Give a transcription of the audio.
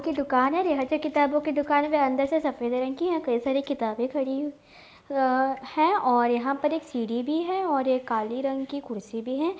की दुकान है| यहाँ से किताबों की दुकान भी अंदर से सफेद रंग की है| कई सारी किताबें खड़ी अ है और यहाँ पर एक सीढ़ी भी है और एक काले रंग की कुर्सी भी है।